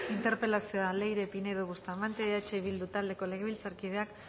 interpelazioa leire pinedo bustamante eh bildu taldeko legebiltzarkideak